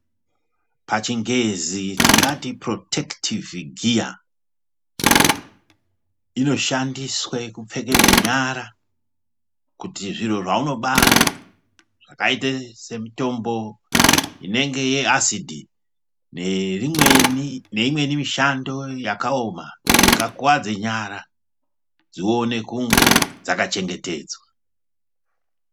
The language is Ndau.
Pachingezi tingati purotekitivhi giya inoshandiswe kupfekedze nyara kuti zviro zvaunobata zvakaita semutombo unenge asidi neimweni mishando yakaoma ingakuwadze nyara dzione kunge dzaka chengetedzwa.